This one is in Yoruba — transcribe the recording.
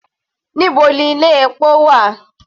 Níbo ni ilé epo wà?